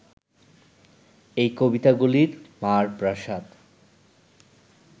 এই কবিতাগুলি মার প্রসাদ